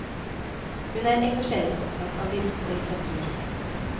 Hun er engasjerende opptatt av lyrikk og litteratur.